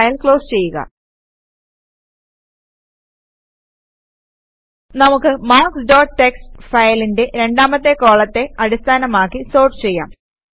ഈ file close ചെയ്യുക നമുക്ക് മാർക്ക്സ് ഡോട്ട് ടിഎക്സ്ടി ഫയലിന്റെ രണ്ടാമത്തെ കോളത്തെ അടിസ്ഥാനമാക്കി സോർട്ട് ചെയ്യാം